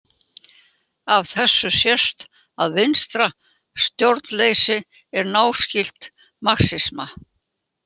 Af þessu sést að vinstra stjórnleysi er náskylt marxisma.